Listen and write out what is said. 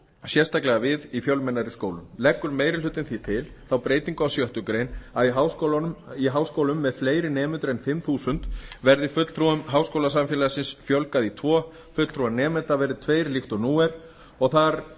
sérstaklega við í fjölmennari skólum leggur meiri hlutinn því til þá breytingu á sjöttu grein að í háskólum með fleiri nemendur en fimm þúsund verði fulltrúum háskólasamfélagsins fjölgað í tvo fulltrúar nemenda verði tveir líkt og nú er og þar